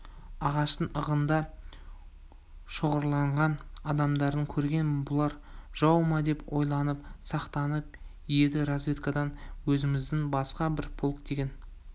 ағаштың ығында шоғырланған адамдарды көрген бұлар жау ма деп ойланып сақтанып еді разведкадан өзіміздің басқа бір полк деген